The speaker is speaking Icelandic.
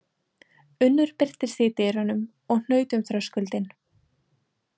Unnur birtist í dyrunum og hnaut um þröskuldinn.